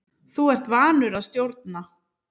Þú ert vanur að stjórna.